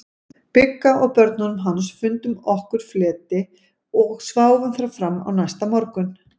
Bigga og börnunum hans, fundum okkur fleti og sváfum þar fram á næsta morgun.